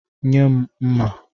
Nye m mma.